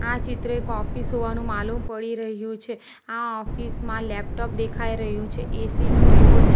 આ ચિત્ર એક ઓફિસ હોવાનું માલુમ પડી રહ્યું છે આ ઓફિસ માં લૅપટૉપ દેખાઈ રહ્યું છે એસી નો રીમોટ --